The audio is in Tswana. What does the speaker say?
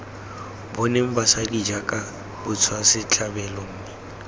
boneng basadi jaaka batswasetlhabelo mme